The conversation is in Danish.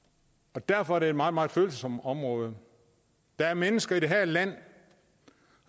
og derfor er det et meget meget følsomt område der er mennesker i det her land